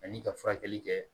Ani ka furakɛli kɛ